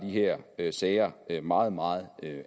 her sager meget meget